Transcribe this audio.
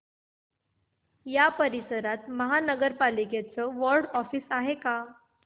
या परिसरात महानगर पालिकेचं वॉर्ड ऑफिस आहे का